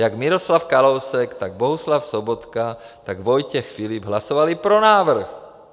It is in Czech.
Jak Miroslav Kalousek, tak Bohuslav Sobotka, tak Vojtěch Filip hlasovali pro návrh.